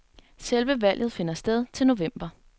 Selve valget finder sted til november.